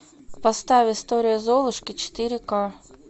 поставь история золушки четыре ка